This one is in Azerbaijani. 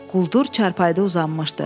Quldur çarpayıda uzanmışdı.